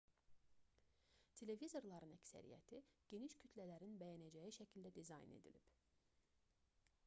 televizorların əksəriyyəti geniş kütlələrin bəyənəcəyi şəkildə dizayn edilib